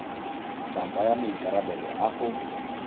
tla tsaya maikarabelo a go